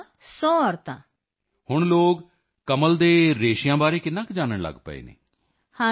ਹਾਂ sir Mann Ki Baat program ਕਰਕੇ ਸਾਰੇ ਭਾਰਤ ਵਿੱਚ ਹਰ ਕੋਈ ਇਸ ਬਾਰੇ ਜਾਣਦਾ ਹੈ yes sir everyone's know from Mann Ki Baat program all over India